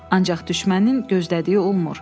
Ancaq düşmənin gözlədiyi olmur.